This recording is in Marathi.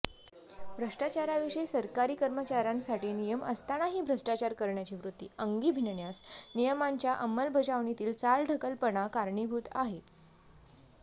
भ्रष्टाचाराविषयी सरकारी कर्मचाऱयांसाठी नियम असतानाही भ्रष्टाचार करण्याची वृत्ती अंगी भिनण्यास नियमांच्या अंमलबजावणीतील चालढकलपणा कारणीभूत आहे